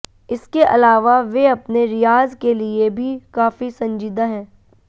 इसके अलावा वे अपने रियाज़ के लिए भी काफी संजीदा हैं